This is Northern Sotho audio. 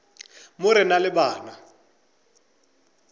mo re na le bana